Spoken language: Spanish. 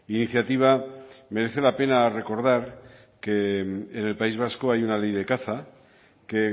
iniciativa merece la pena recordar que en el país vasco hay una ley de caza que